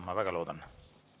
Ma väga loodan.